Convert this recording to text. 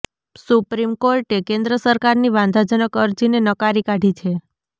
supreme કોર્ટે કેન્દ્ર સરકારની વાંધાજનક અરજીને નકારી કાઢી છે